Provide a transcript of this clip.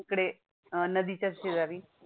तिकडे अं नदीच्याच शेजारी